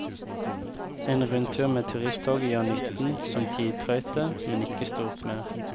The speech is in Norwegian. En rundtur med turisttoget gjør nytten som tidtrøyte, men ikke stort mer.